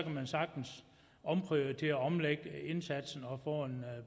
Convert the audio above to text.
man sagtens omprioritere og omlægge indsatsen og få en